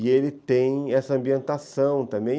E ele tem essa ambientação também.